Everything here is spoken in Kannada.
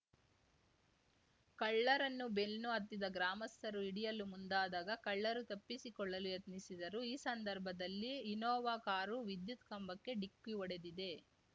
ಕಳ್ಳರನ್ನು ಬೆನ್ನು ಹತ್ತಿದ ಗ್ರಾಮಸ್ಥರು ಹಿಡಿಯಲು ಮುಂದಾದಾಗ ಕಳ್ಳರು ತಪ್ಪಿಸಿಕೊಳ್ಳಲು ಯತ್ನಿಸಿದರು ಈ ಸಂದರ್ಭದಲ್ಲಿ ಇನ್ನೋವಾ ಕಾರು ವಿದ್ಯುತ್‌ ಕಂಬಕ್ಕೆ ಡಿಕ್ಕಿ ಹೊಡೆದಿದೆ